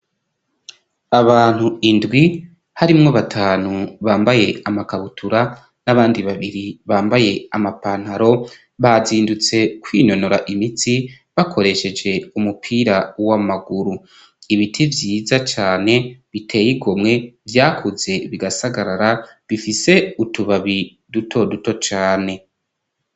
Abantu indwi harimwo batanu bambaye amakabutura, n'abandi babiri bambaye amapantaro, bazindutse kwinonora imitsi bakoresheje umupira w'amaguru, ibiti vyiza cane biteye igomwe, vyakuze bigasagarara, bifise utubabi duto duto cane.